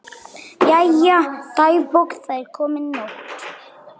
Jæja, dagbók, það er komin nótt.